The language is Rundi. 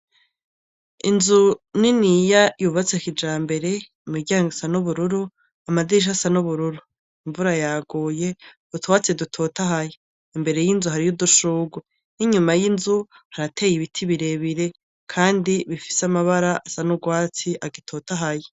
Inzu niniya yubatse kijambere ,imiryango isa nubururu ,amadirisha asa nubururu, imvura yaguye. Utwatsi dutotahaye. Imbere y'inzu hariyo udushurwe ninyuma y'inzu harateye ibiti birebire kandi bifise amabara asa nurwatsi kandi agitotahaye.